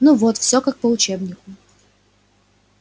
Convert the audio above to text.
ну вот всё как по учебнику